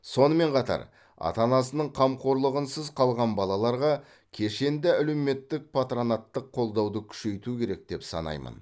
сонымен қатар ата анасының қамқорлығынсыз қалған балаларға кешенді әлеуметтік патронаттық қолдауды күшейту керек деп санаймын